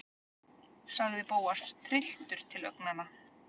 sagði Bóas, trylltur til augnanna.